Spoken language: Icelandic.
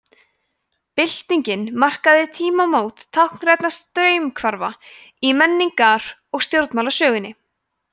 byltingin markaði tímamót táknrænna straumhvarfa í menningar og stjórnmálasögunni